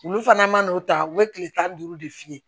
Olu fana mana n'o ta u bɛ kile tan ni duuru de f'i ye